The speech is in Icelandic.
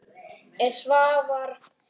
Er Svavar í liði þeirra?